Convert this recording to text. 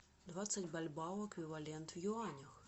двадцать бальбоа эквивалент в юанях